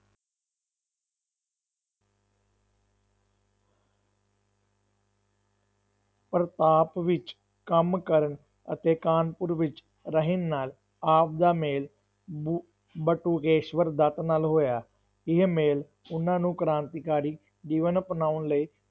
ਪ੍ਰਤਾਪ ਵਿੱਚ ਕੰਮ ਕਰਨ ਅਤੇ ਕਾਨਪੁਰ ਵਿੱਚ ਰਹਿਣ ਨਾਲ ਆਪ ਦਾ ਮੇਲ ਬੁ~ ਬਟੁਕੇਸ਼ਵਰ ਦੱਤ ਨਾਲ ਹੋਇਆ, ਇਹ ਮੇਲ ਉਹਨਾਂ ਨੂੰ ਕ੍ਰਾਂਤੀਕਾਰੀ ਜੀਵਨ ਅਪਣਾਉਣ ਲਈ